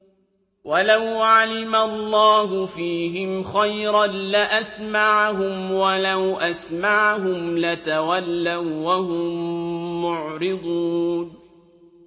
وَلَوْ عَلِمَ اللَّهُ فِيهِمْ خَيْرًا لَّأَسْمَعَهُمْ ۖ وَلَوْ أَسْمَعَهُمْ لَتَوَلَّوا وَّهُم مُّعْرِضُونَ